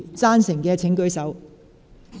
贊成的請舉手。